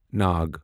ناگ